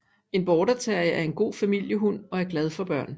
En Border terrier er en god familiehund og er glad for børn